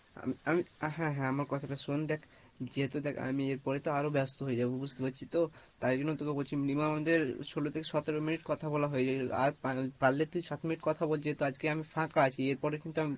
হ্যাঁ হ্যাঁ আমার কথা টা শোন, দেখ যেহেতু দেখ আমি এর পরে তো আরো ব্যাস্ত হয়ে যাবো বুঝতে পারছিস তো, তাই জন্য তোকে বলছি minimum আমাদের সোলো থেকে সতেরো minute কথা বলা হয়ে গেছে আর পা~পারলে তুই সাত minute কথা বল যেহেতু আজকে আমি ফাঁকা আছি এরপরে